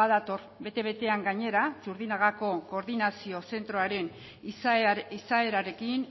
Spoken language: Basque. badator bete betean gainera txurdinagako koordinazio zentroaren izaerarekin